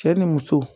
Cɛ ni muso